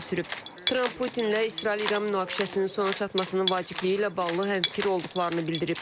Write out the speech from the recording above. Tramp Putinlə İsrail-İran münaqişəsinin sona çatmasının vacibliyi ilə bağlı həmfikir olduqlarını bildirib.